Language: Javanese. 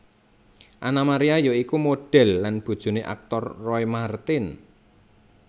Anna Maria ya iku modhel lan bojoné aktor Roy Marten